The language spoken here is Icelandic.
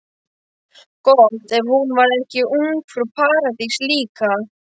Gott ef hún var ekki ungfrú Paradís líka.